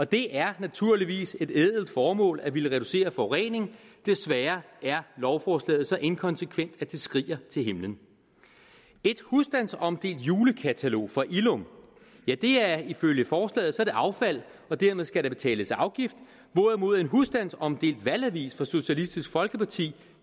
det er naturligvis et ædelt formål at ville reducere forureningen desværre er lovforslaget så inkonsekvent at det skriger til himlen et husstandsomdelt julekatalog fra illum er ifølge forslaget affald og dermed skal der betales afgift hvorimod en husstandsomdelt valgavis fra socialistisk folkeparti